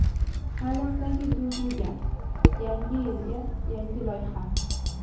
Taʼlimdagi duv-duv gap - yangi yilga yangi loyiha!.